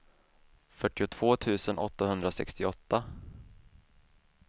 fyrtiotvå tusen åttahundrasextioåtta